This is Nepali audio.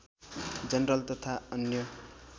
जनरल तथा अन्य